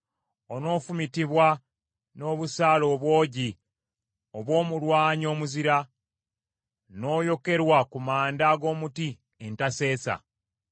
Onoofumitibwa n’obusaale obwogi obw’omulwanyi omuzira, n’oyokerwa ku manda ag’omuti entaseesa.